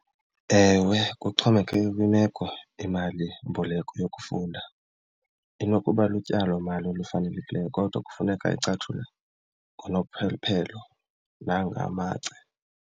Ewe, kuxhomekeke kwimeko. Imalimboleko yokufunda inokuba lutyalomali olufanelekileyo kodwa kufuneka icatshulwe nangamacebo.